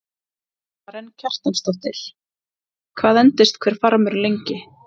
Karen Kjartansdóttir: Hvað endist hver farmur lengi?